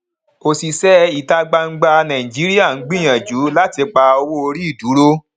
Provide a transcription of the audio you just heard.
òṣìṣẹ ìta gbangba nàìjíríà ń gbìyànjú láti pa owó orí dúró